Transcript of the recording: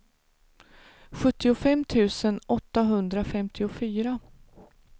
sjuttiofem tusen åttahundrafemtiofyra